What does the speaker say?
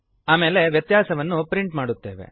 ಆಮೇಲೆ ವ್ಯತ್ಯಾಸವನ್ನು ಪ್ರಿಂಟ್ ಮಾಡುತ್ತೇವೆ